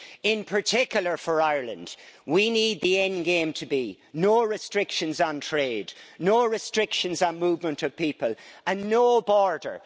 In particular for Ireland, we need the endgame to be no restrictions on trade, no restrictions on movement of people and no border.